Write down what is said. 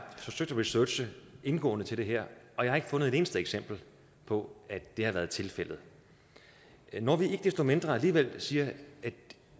forsøgt at researche indgående til det her og jeg har ikke fundet et eneste eksempel på at det har været tilfældet når vi ikke desto mindre alligevel siger